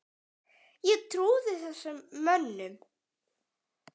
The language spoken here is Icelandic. Ég trúði þessum mönnum.